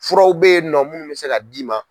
Furaw bɛ yen nɔ munnu bɛ se ka d'i ma.